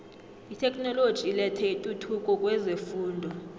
itheknoloji ilethe intuthuko kwezefundo